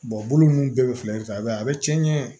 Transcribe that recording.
bolo ninnu bɛɛ bɛ filɛ i b'a ye a bɛ cɛn